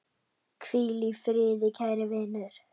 Hvíl í friði kæri vinur.